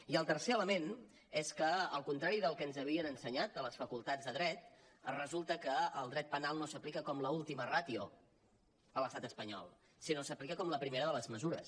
i el tercer element és que al contrari del que ens havien ensenyat a les facultats de dret resulta que el dret penal no s’aplica com l’última ràtio a l’estat espanyol si no que s’aplica com la primera de les mesures